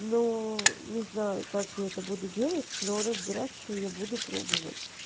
но не знаю как я это буду делать но разбираться я буду пробовать